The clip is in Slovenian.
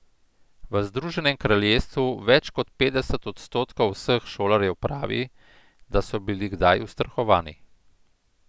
V Združenem kraljestvu več kot petdeset odstotkov vseh šolarjev pravi, da so bili kdaj ustrahovani.